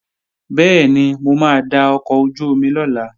Bẹ́ẹ̀ni, mo máa da ọkọ̀ ojú-omi lọ̀la